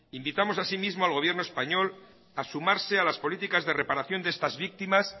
invitamos así mismo al gobierno español a sumarse a las políticas de reparación de estas víctimas